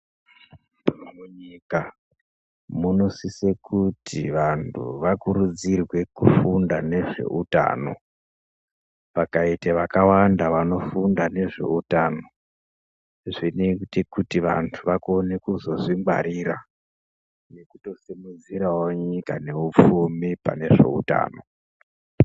Munyika munosise kuti vantu vakurudzirwe kufunda nezveutano, pakaite vakawanda vanofunda nezveutano zvinoite kuti vantu vakone kuzozvingwarira nekutosimudzirawo nyika neupfumi panezveutano.